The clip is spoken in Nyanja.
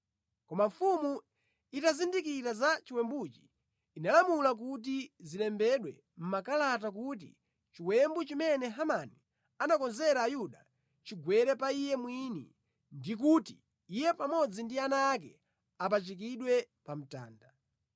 Koma mfumu itazindikira za chiwembuchi, inalamula kuti zilembedwe mʼmakalata kuti chiwembu chimene Hamani anakonzera Ayuda chigwere pa iye mwini, ndi kuti iye pamodzi ndi ana ake apachikidwe pa mtanda.